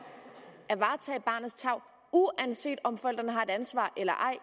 at varetage barnets tarv uanset om forældrene har et ansvar eller ej